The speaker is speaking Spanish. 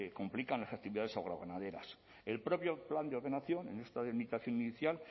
complican las actividades agroganaderas el propio plan de ordenación en esta delimitación inicial